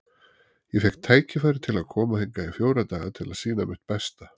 Ég fékk tækifæri til að koma hingað í fjóra daga til að sýna mitt besta.